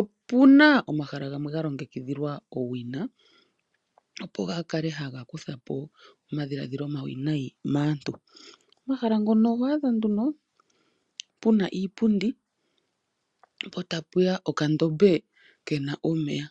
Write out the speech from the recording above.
Opuna omahala gamwe ga longekidhilwa owina, opo ga kale haga kutha po omadhilaadhilo omawinayi Maantu. omahala ngono oho adha nduno pena eta puya okandombe kena omeya.